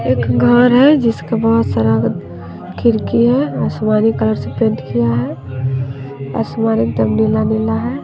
एक घर है जिसके बहुत सारा खिड़की है आसमानी कलर से पेंट किया है आसमान एकदम नीला नीला है।